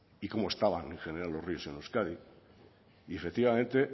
y cómo estaban en general los ríos en euskadi y efectivamente